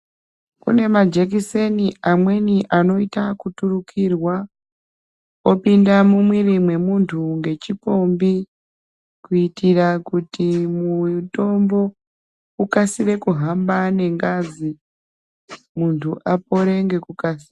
Kune majekiseni amweni anoita kuturukirwa opinda mumwiri mwemuntu ngechipombi kuitira kuti mutombo ukasire kuhamba nengazi muntu apore ngekukasira.